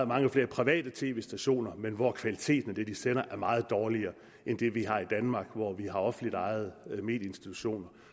mange flere private tv stationer men hvor kvaliteten af det de sender er meget dårligere end det vi har i danmark hvor vi har offentligt ejede medieinstitutioner